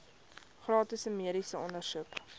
gratis mediese ondersoeke